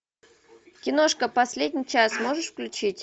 киношка последний час можешь включить